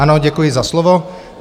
Ano, děkuji za slovo.